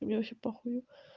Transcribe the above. мне вообще похую